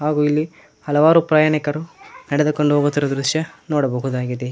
ಹಾಗು ಇಲ್ಲಿ ಹಲವಾರು ಪ್ರಯಾಣಿಕರು ನೆಡೆದುಕೊಂಡು ಹೋಗುತ್ತಿರುವ ದೃಶ್ಯ ನೋಡಬಹುದಾಗಿದೆ.